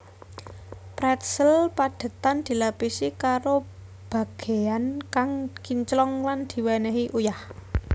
Pretzel padhetan dilapisi karo bagéyan kang kinclong lan diwènèhi uyah